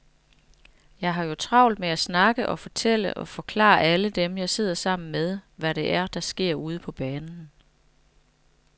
Jeg har jo travlt med at snakke og fortælle og forklare alle dem, jeg sidder sammen med, hvad det er, der sker ude på banen.